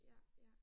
Ja ja